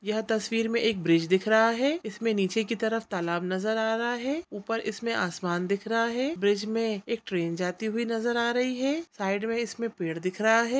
यह तस्वीर मे एक ब्रिज दिख रहा है इसमें नीचे की तरफ तालाब नजर आ रहा है ऊपर इसमें आसमान दिख रहा है ब्रिज में एक ट्रेन जाती हुई नजर आ रही है साइड मे इसमें पेड़ दिख रहा है।